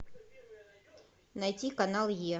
найти канал е